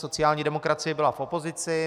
Sociální demokracie byla v opozici.